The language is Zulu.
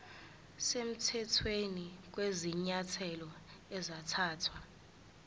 semthethweni kwezinyathelo ezathathwa